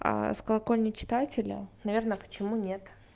с колокольни читателя наверное почему нет